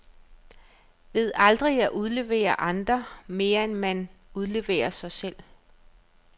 Ved aldrig at udlevere andre, mere end man udleverer sig selv.